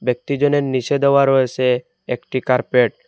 ব্যক্তিজনের নীচে দেওয়া রয়েসে একটি কার্পেট ।